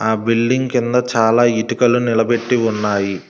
ఆ బిల్డింగ్ కింద చాలా ఇటుకలు నిలబెట్టి ఉన్నాయి.